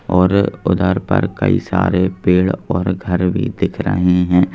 और उधर पर कई सारे पेड़ और घर भी दिख रहे हैं।